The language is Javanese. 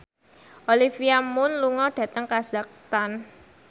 Olivia Munn lunga dhateng kazakhstan